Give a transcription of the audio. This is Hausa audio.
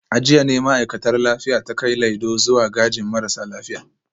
A jiya ne ma’aikatar lafiya ta kai Laido zuwa gajin marasa lafiya